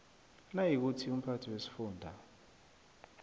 nayikuthi umphathi wesifunda